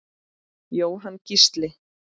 Jóhann Gísli.